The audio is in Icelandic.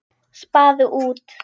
Spaði út.